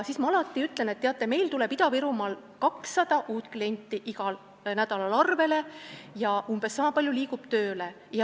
Siis ma alati ütlen, et teate, Ida-Virumaal tuleb 200 uut klienti igal nädalal arvele ja umbes sama palju inimesi saab tööle.